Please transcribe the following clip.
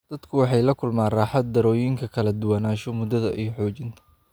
Dadku waxay la kulmaan raaxo-darrooyinkan kala duwanaansho, muddada, iyo xoojinta.